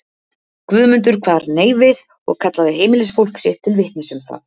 Guðmundur kvað nei við og kallaði heimilisfólk sitt til vitnis um það.